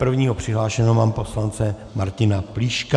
Prvního přihlášeného mám poslance Martina Plíška.